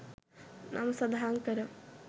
නම සඳහන්කර